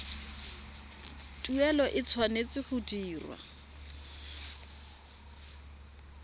tuelo e tshwanetse go dirwa